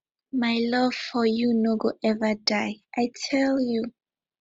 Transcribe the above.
my love for you no go eva die i tell you